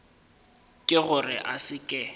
ke gore a se ke